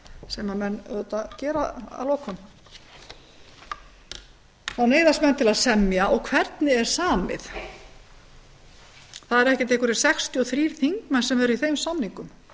sem menn auðvitað gera að lokum þá neyðast menn til að semja og hvernig er samið það eru ekki einhverjir sextíu og þrír þingmenn sem eru í þeim samningum